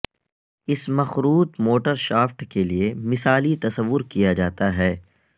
اس مخروط motor shaft کے لئے مثالی تصور کیا جاتا ہے